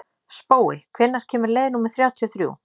Spói, hvenær kemur leið númer þrjátíu og þrjú?